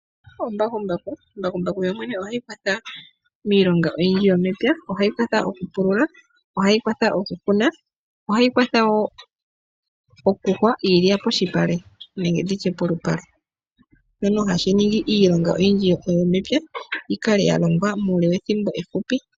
Mbakumbaku ohayi kwatha miilonga oyindji yomepya ohayi kwatha okupulula ohayi kwatha okukuna ohayi kwatha wo okuhwa iilya posipale nenge nditye polupale shono hashi ningi iilonga oyindji yomepya yi kale ya longwa muule we thimbo efupi.